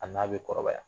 A n'a bɛ kɔrɔbaya